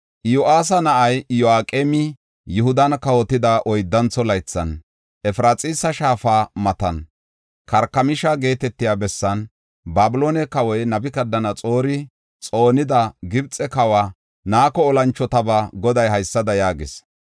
Iyo7aasa na7ay Iyo7aqeemi Yihudan kawotida oyddantho laythan, Efraxiisa shaafa matan, Karkamisha geetetiya bessan, Babiloone kawoy Nabukadanaxoori xoonida Gibxe kawa Nako olanchotabaa Goday haysada yaagees.